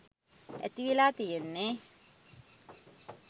ඇතිවෙලා තියෙන්නෙ